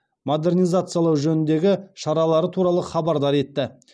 модернизациялау жөніндегі шаралары туралы хабардар етті